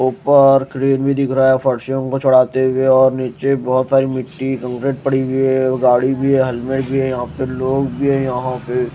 ऊपर क्रेन भी दिख रहा है फर्शियों को चढ़ाते हुए और नीचे बहोत सारी मिट्टी कंकड़ पड़ी हुई है गाड़ी भी है हेलमेट है यहां पे लोग भी है यहां पे।